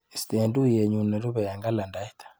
Istee tuiyenyu nerupe eng kalendait.